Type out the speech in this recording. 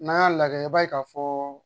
N'an y'a lajɛ i b'a ye ka fɔ